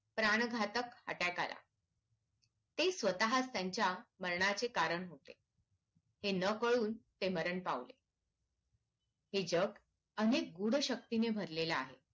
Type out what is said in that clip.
प्राण घातक attack आला ते स्वतः त्यांच्या मरणाचे कारण होते हे ना कळून ते मरण पावले हे जग अनेक गूढ शक्तीने भरलेलं आहे